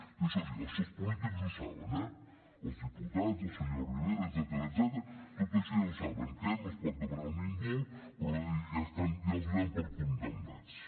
i això sí això els polítics ho saben eh els diputats el senyor rivera etcètera tot això ja ho saben que no es pot demanar un indult però ja els donem per condemnats